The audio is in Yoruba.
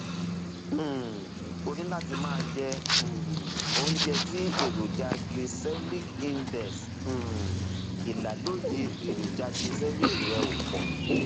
um o ní láti máa jẹ um oúnjẹ tí èròjà glycemic index um ìlàlóye èròjà glycemic rẹ ò pọ